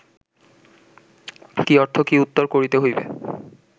কি অর্থ, কি উত্তর করিতে হইবে